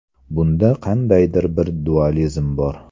Bunda qandaydir bir dualizm bor.